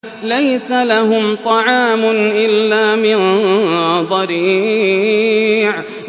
لَّيْسَ لَهُمْ طَعَامٌ إِلَّا مِن ضَرِيعٍ